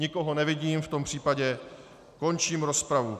Nikoho nevidím, v tom případě končím rozpravu.